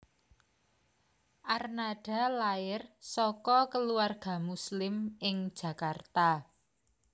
Arnada lair saka keluarga Muslim ing Jakarta